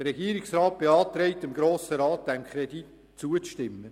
Der Regierungsrat beantragt dem Grossen Rat, dem Kredit zuzustimmen.